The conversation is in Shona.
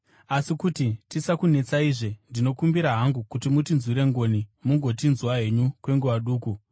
Asi kuti tisakunetsaizve, ndinokumbira hangu kuti mutinzwire ngoni mungotinzwa henyu kwenguva duku.